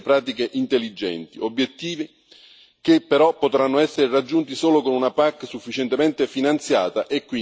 Obiettivi che però potranno essere raggiunti solo con una PAC sufficientemente finanziata e quindi senza tagli al bilancio.